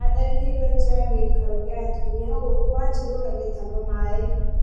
Atharĩkĩĩrwo nja ya gĩikaro kĩa atumia gũkũ Wanjiru atahaga maĩ